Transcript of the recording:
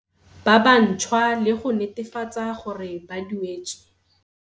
ba bantšhwa le go netefatsa gore ba duetswe.